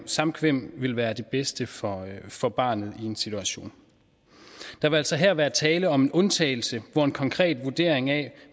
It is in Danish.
samkvem vil være det bedste for for barnet i sådan en situation der vil altså her være tale om en undtagelse hvor en konkret vurdering af